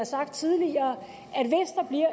sagt tidligere